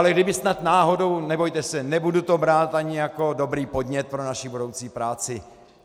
Ale kdyby snad náhodou, nebojte se, nebudu to brát ani jako dobrý podnět pro naši budoucí práci.